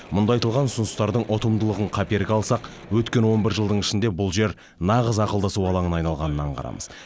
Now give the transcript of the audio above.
мұнда айтылған ұсыныстардың ұтымдылығын қаперге алсақ өткен он бір жылдың ішінде бұл жер нағыз ақылдасу алаңына айналғанын аңғарамыз